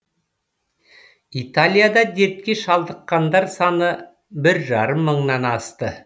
италияда дертке шалдыққандар саны бір жарым мыңнан асты